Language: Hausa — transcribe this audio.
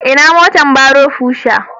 Ina motar barrow Pusher?